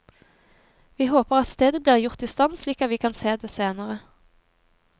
Vi håper at stedet blir gjort istand slik at vi kan se det senere.